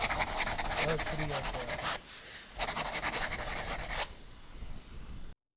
ਸਤ ਸ਼੍ਰੀ ਅਕਾਲ